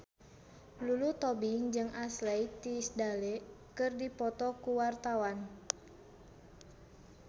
Lulu Tobing jeung Ashley Tisdale keur dipoto ku wartawan